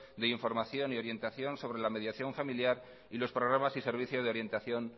de información y orientación sobre la mediación familiar y los programas y servicio de orientación